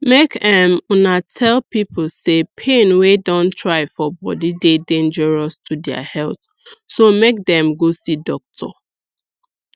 make um una tell pipo say pain wey don try for body dey dangerous to dia health so make them go see doctor